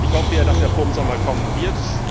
Ich hoffe ja, dass er vor dem Sommer kommen wird.